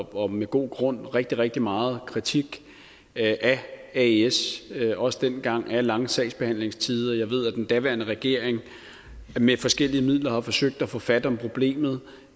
og med god grund rigtig rigtig meget kritik af aes også dengang af de lange sagsbehandlingstider jeg ved at den daværende regering med forskellige midler har forsøgt at få fat om problemet